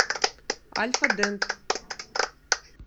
альфа дент